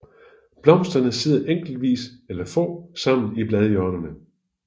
Blomsterne sidder enkeltvis eller få sammen i bladhjørnerne